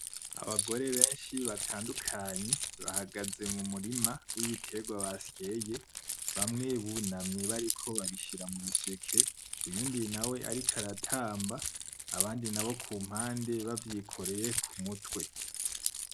Abagore benshi batandukanye bahagaze mu murima wibiterwa basyeye, bamwe bunamye bariko babishira mu miseke. Uyundi nawe ariko aratamba, abandi nabo kumpande bavyikoreye ku mutwe.